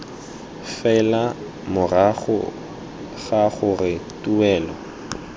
fela morago ga gore tuelo